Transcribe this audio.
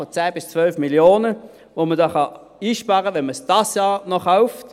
Man spricht von 10–12 Mio. Franken, die man hier einsparen kann, wenn man es noch dieses Jahr kauft.